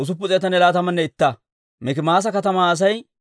Iyaarkko katamaa Asay 345.